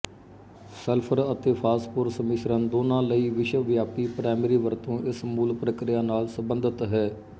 sulphur ਅਤੇ phosphorus ਮਿਸ਼ਰਨ ਦੋਨਾਂ ਲਈ ਵਿਸ਼ਵਵਿਆਪੀ ਪ੍ਰਾਇਮਰੀ ਵਰਤੋਂ ਇਸ ਮੂਲ ਪ੍ਰਕਿਰਿਆ ਨਾਲ ਸਬੰਧਤ ਹੈ